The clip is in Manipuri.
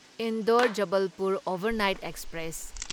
Indore Jabalpur overnight express